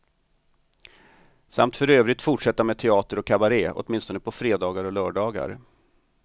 Samt för övrigt fortsätta med teater och kabare, åtminstone på fredagar och lördagar.